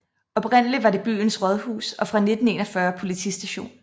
Oprindeligt var det byens rådhus og fra 1941 politistation